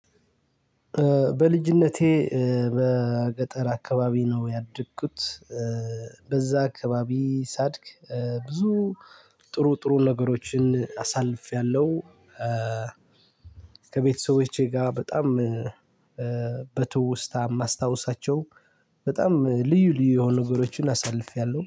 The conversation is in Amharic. በልጅነቴ በገጠር አከባቢ ነው ያደኩት በዚያ አከባቢ ሳድግ ብዙ ጥሩ ጥሩ ነገሮችን አሳልፊያለው። ከቤተሰቦቼ ጋር በጣም በትውስታ የማስታውሳቸው በጣም ልዩ ልዩ የሆኑ ነገሮችን አሳልፌያለሁ